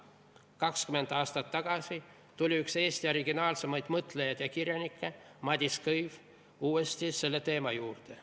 20 aastat tagasi tuli üks Eesti kõige originaalsemaid mõtlejaid ja kirjanikke Madis Kõiv uuesti selle teema juurde.